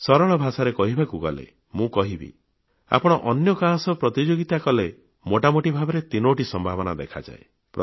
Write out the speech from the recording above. ସରଳ ଭାଷାରେ କହିବାକୁ ଗଲେ ମୁଁ କହିବି ଆପଣ ଅନ୍ୟ କାହା ସହ ପ୍ରତିଯୋଗିତା କଲେ ମୋଟାମୋଟି ଭାବରେ ତିନୋଟି ସମ୍ଭାବନା ଦେଖାଯାଏ